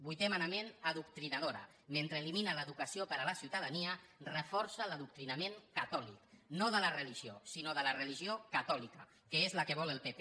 vuitè manament adoctrinadora mentre elimina l’educació per a la ciutadania reforça l’adoctrinament catòlic no de la religió sinó de la religió catòlica que és la que vol el pp